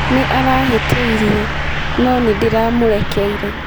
Nĩ arahĩtĩirie, no nĩ ndĩramũrekeire.